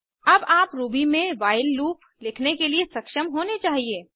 अब आप रूबी में व्हाइल लूप लिखने के लिए सक्षम होने चाहिए